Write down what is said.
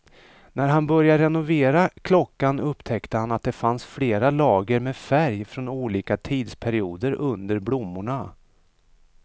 När han började renovera klockan upptäckte han att det fanns flera lager med färg från olika tidsperioder under blommorna.